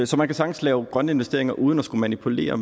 så man kan sagtens lave grønne investeringer uden at skulle manipulere